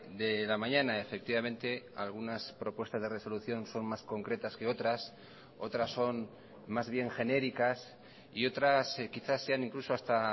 de la mañana efectivamente algunas propuestas de resolución son más concretas que otras otras son más bien genéricas y otras quizás sean incluso hasta